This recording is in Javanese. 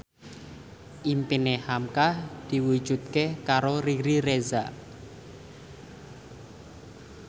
impine hamka diwujudke karo Riri Reza